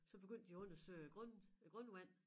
Så begyndte de at undersøge grund æ grundvand